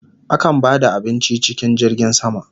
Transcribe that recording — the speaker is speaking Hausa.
Akan ba da abinci cikin jirgin sama